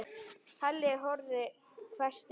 Halli hor hvæsti hann.